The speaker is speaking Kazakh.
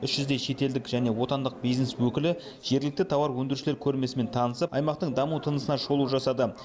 үш жүздей шетелдік және отандық бизнес өкілі жергілікті тауар өндірушілер көрмесімен танысып аймақтың даму тынысына шолу жасады